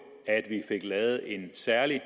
at vi fik lavet en særlig